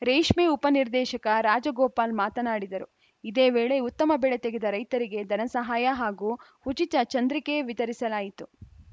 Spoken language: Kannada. ರೇಷ್ಮೆ ಉಪನಿರ್ದೇಶಕ ರಾಜಗೋಪಾಲ್‌ ಮಾತನಾಡಿದರು ಇದೇ ವೇಳೆ ಉತ್ತಮ ಬೆಳೆ ತೆಗೆದ ರೈತರಿಗೆ ಧನಸಹಾಯ ಹಾಗೂ ಉಚಿತ ಚಂದ್ರಿಕೆ ವಿತರಿಸಲಾಯಿತು